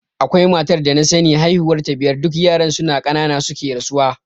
Akwai matar da na sani haihuwar ta biyar duk yaran suna ƙanana suke rasuwa.